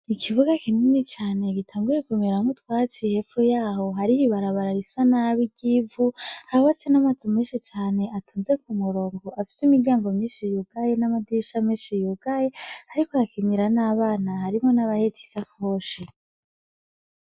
Ikibuga kinini cane gitanguye kumiramwo twatsi hepfu yaho hariri barabarara isa nabo ry'ivu hawase n'amaze menshi cane atunze ku murongo afise imiryango minshi yugaye n'amadisha menshi yugaye, ariko hakinyira n'abana harimo n'abahecisa koshi.